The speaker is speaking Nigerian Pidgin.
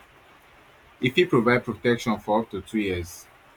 e fit provide protection for up to two years